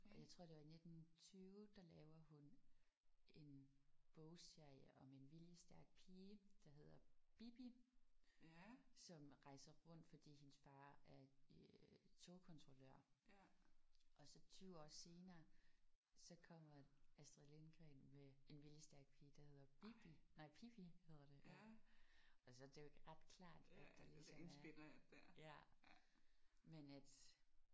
Og jeg tror det var i 1920 der laver hun en bogserie om en viljestærk pige der hedder Bibi som rejser rundt fordi hendes far er øh togkontrollør. Og så 20 år senere så kommer Astrid Lindgren med en viljestærk pige der hedder Bibi nej Pippi hedder det. Og så det er jo ret klart at der ligesom er ja